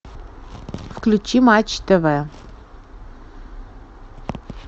включи матч тв